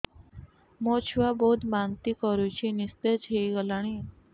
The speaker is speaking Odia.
ମୋ ଛୁଆ ବହୁତ୍ ବାନ୍ତି କରୁଛି ନିସ୍ତେଜ ହେଇ ଗଲାନି